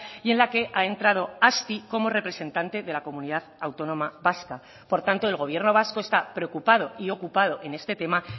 y en la que ha entrado azti como representante de la comunidad autónoma vasca por tanto el gobierno vasco está preocupado y ocupado en este tema